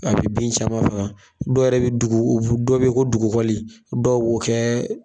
A be bin caman faga dɔw yɛrɛ bi dugu dɔ be yen ko dugukɔli dɔw b'o kɛ